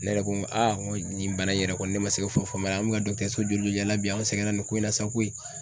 Ne yɛrɛ ko n ko n ko nin bana in yɛrɛ kɔni ne ma se ka foyi de faamu a la, an bɛ ka so joli joli yaala bi; an sɛgɛnna nin ko in na sa koyi.